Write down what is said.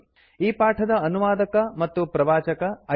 ಈ ಪಾಠದ ಅನುವಾದಕ ಮತ್ತು ಪ್ರವಾಚಕ ಐಐಟಿ